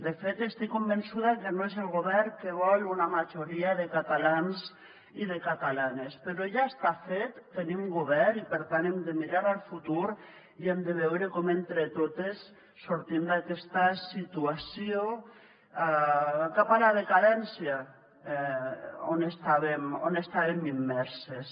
de fet estic convençuda que no és el govern que vol una majoria de catalans i de catalanes però ja està fet tenim govern i per tant hem de mirar al futur i hem de veure com entre totes sortim d’aquesta situació cap a la decadència on estàvem immerses